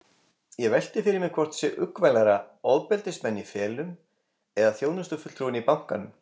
Ég velti fyrir mér hvort sé uggvænlegra, ofbeldismenn í felum eða þjónustufulltrúinn í bankanum.